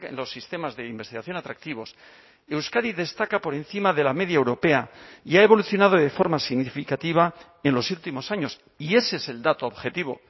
los sistemas de investigación atractivos euskadi destaca por encima de la media europea y ha evolucionado de forma significativa en los últimos años y ese es el dato objetivo